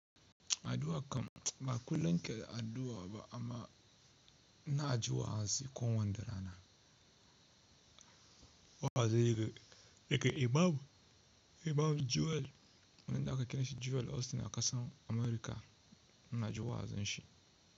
Addu'a kam ba kullum ke addu'a ba amma ina ji wa'azi kowanne rana. Wa'azin yake daga Imam, Imam Joel, wanda aka kira shi Joel Austin a ƙasar Amurka. Ina jin wa'azinsa.